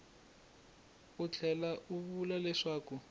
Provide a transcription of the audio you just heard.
u tlhela u vula leswaku